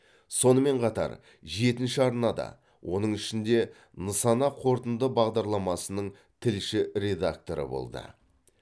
сонымен қатар жетінші арнада оның ішінде нысана қорытынды бағдарламасының тілші редакторы болды